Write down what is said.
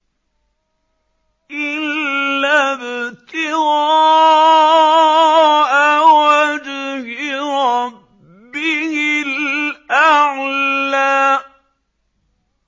إِلَّا ابْتِغَاءَ وَجْهِ رَبِّهِ الْأَعْلَىٰ